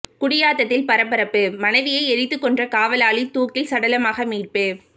குடியாத்தத்தில் பரபரப்பு மனைவியை எரித்துக் கொன்ற காவலாளி தூக்கில் சடலமாக மீட்பு